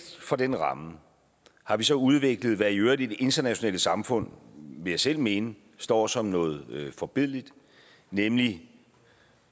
for den ramme har vi så udviklet hvad der i øvrigt i det internationale samfund vil jeg selv mene står som noget forbilledligt nemlig